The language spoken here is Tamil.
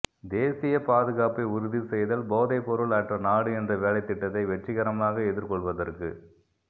தேசிய பாதுகாப்பை உறுதி செய்தல் போதைப்பொருள் அற்ற நாடு என்ற வேலைத்திட்டத்தை வெற்றிகரமாக எதிர்க்கொள்வதற்கு